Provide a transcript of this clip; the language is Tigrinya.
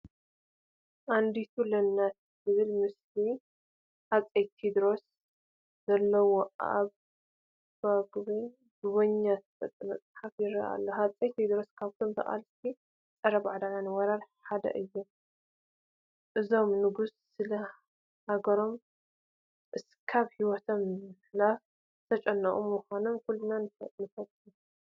ኣንድ ለናቱ ዝብል ምስሊ ሃፀይ ቴድሮስ ዘለዎ ብኣቤ ጉበኛ ዝተፃሕፈ መፅሓፍ ይርአ ኣሎ፡፡ ሃፀይ ቴድሮስ ካብቶም ተቓለስቲ ፀረ ባዕዳዊ ወራር ሓደ እዮም፡፡ እዞም ንጉስ ስለ ሃገሮም እስካብ ህይወቶም ምሃብ ዝጨከኑ ብምዃኖም ኩልና ንፈትዎም፡፡